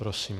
Prosím.